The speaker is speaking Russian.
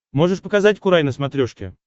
можешь показать курай на смотрешке